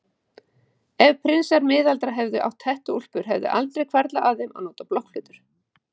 Ef prinsar miðalda hefðu átt hettuúlpur hefði aldrei hvarflað að þeim að nota blokkflautur.